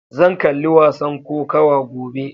Zan kalli wasan kokawa gobe.